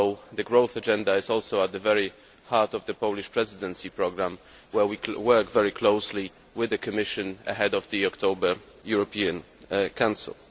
The growth agenda is also at the very heart of the Polish Presidency programme, where we are working very closely with the Commission ahead of the October European Council.